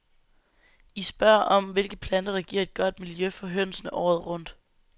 I spørger om, hvilke planter der giver et godt miljø for hønsene året rundt.